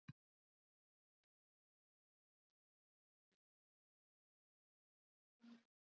Hann hafði þá ekki drukknað?